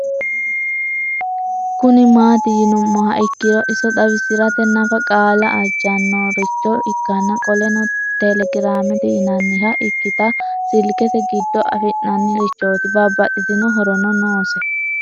Kuni mati yinumoha ikiro iso xawisrate nafa qaala ajanoricho ikana qoleno telegiramete yinaniha ikitana silikete gido afina'ni richot babaxitino horono nose